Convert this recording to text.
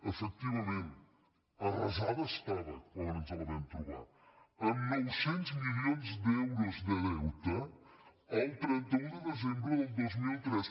efectivament arrasada estava quan ens la vam trobar amb nou cents milions d’euros de deute el trenta un de desembre del dos mil tres